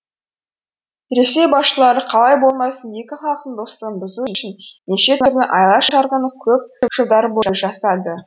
ресей басшылары қалай болмасын екі халықтың достығын бұзу үшін неше түрлі айла шарғыны көп жылдар бойы жасады